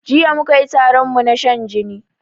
Jiya mukayi taronmu na shan jini